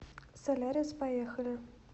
солярис поехали